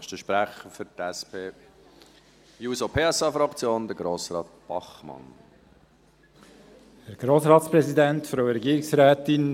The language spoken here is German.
Für die SP-JUSO-PSA-Fraktion hat Grossrat Bachmann das Wort.